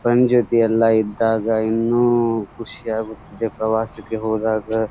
friends ಜೊತೆ ಎಲ್ಲ ಇದ್ದಾಗ ಇನ್ನು ಖುಷಿಯಾಗುತಿದ್ದೆ ಪ್ರವಾಸಕ್ಕೆ ಹೋದಾಗ --